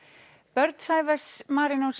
börn Sævars